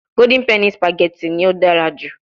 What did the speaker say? Golden penny spaghetti ni o dara ju